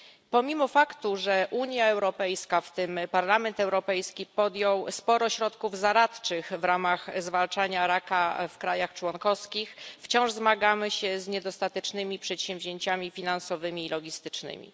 Pomimo faktu, że Unia Europejska, w tym Parlament Europejski, podjął sporo środków zaradczych w ramach zwalczania raka w krajach członkowskich, wciąż zmagamy się z niedostatecznymi przedsięwzięciami finansowymi i logistycznymi.